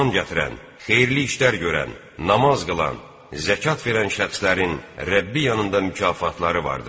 İman gətirən, xeyirli işlər görən, namaz qılan, zəkat verən şəxslərin Rəbbi yanında mükafatları vardır.